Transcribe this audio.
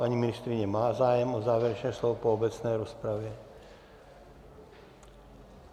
Paní ministryně má zájem o závěrečné slovo po obecné rozpravě.